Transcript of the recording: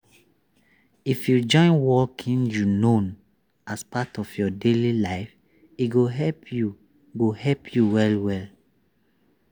if you join walking you knownas part of your daily life e go help you go help you well well.